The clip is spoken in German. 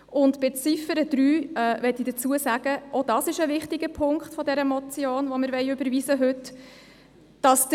Zur Ziffer 3 – auch dies ein wichtiger Punkt der Motion, die wir heute überweisen wollen – möchte ich Folgendes sagen: